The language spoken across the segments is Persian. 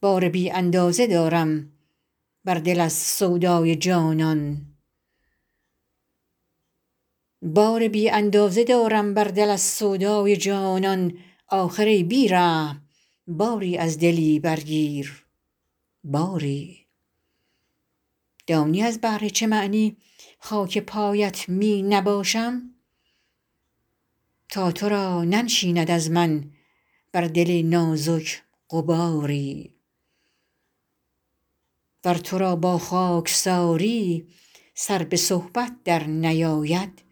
بار بی اندازه دارم بر دل از سودای جانان آخر ای بی رحم باری از دلی برگیر باری دانی از بهر چه معنی خاک پایت می نباشم تا تو را ننشیند از من بر دل نازک غباری ور تو را با خاکساری سر به صحبت درنیاید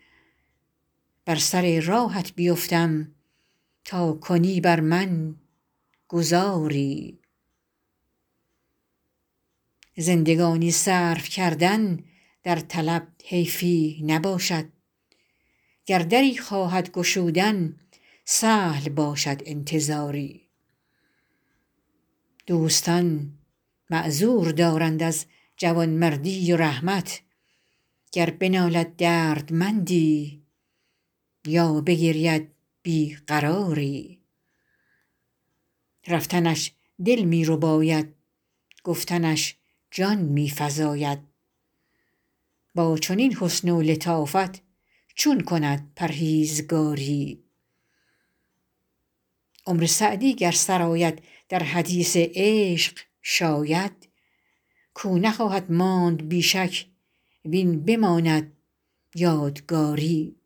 بر سر راهت بیفتم تا کنی بر من گذاری زندگانی صرف کردن در طلب حیفی نباشد گر دری خواهد گشودن سهل باشد انتظاری دوستان معذور دارند از جوانمردی و رحمت گر بنالد دردمندی یا بگرید بی قراری رفتنش دل می رباید گفتنش جان می فزاید با چنین حسن و لطافت چون کند پرهیزگاری عمر سعدی گر سر آید در حدیث عشق شاید کاو نخواهد ماند بی شک وین بماند یادگاری